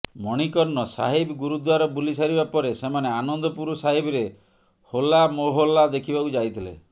ମଣିକର୍ଣ୍ଣ ସାହିବ ଗୁରୁଦ୍ୱାର ବୁଲି ସାରିବା ପରେ ସେମାନେ ଆନନ୍ଦପୁର ସାହିବରେ ହୋଲା ମୋହଲ୍ଲା ଦେଖିବାକୁ ଯାଇଥିଲେ